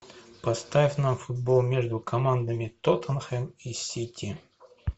поставь нам футбол между командами тоттенхэм и сити